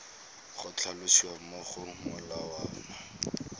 go tlhalosiwa mo go molawana